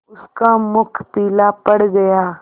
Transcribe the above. उसका मुख पीला पड़ गया